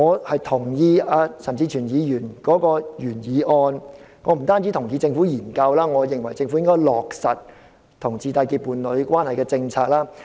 我同意陳志全議員的原議案，我不單同意政府進行研究，我也認為政府應該落實讓同志締結伴侶關係的政策。